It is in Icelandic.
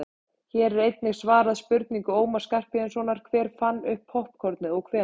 hér er einnig svarað spurningu ómars skarphéðinssonar „hver fann upp poppkornið og hvenær“